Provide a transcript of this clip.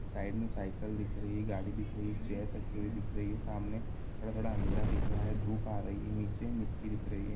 Side में cycle दिख रही है गाड़ी दिख रही है चेयर रखी हुई दिख रही है सामने थोड़ा थोड़ा अंधेरा दिख रहा है धूप आ रही है नीचे मिट्टी दिख रही है।